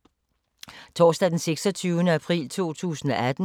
Torsdag d. 26. april 2018